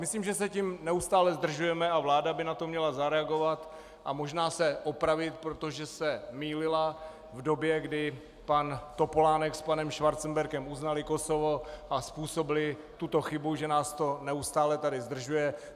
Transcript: Myslím, že se tím neustále zdržujeme a vláda by na to měla zareagovat a možná se opravit, protože se mýlila v době, kdy pan Topolánek s panem Schwarzenbergem uznali Kosovo a způsobili tuto chybu, že nás to neustále tady zdržuje.